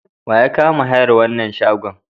Wa ya kama hayar wannan shagon?